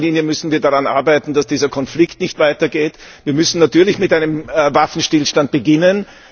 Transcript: In erster Linie müssen wir also daran arbeiten, dass dieser Konflikt nicht weitergeht. Wir müssen natürlich mit einem Waffenstillstand beginnen.